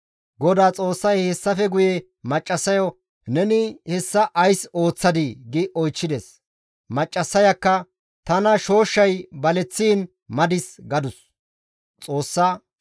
GODAA Xoossay hessafe guye maccassayo, «Neni hessa ays ooththadii?» gi oychchides. Maccassayakka, «Tana shooshshay baleththiin madis» gadus.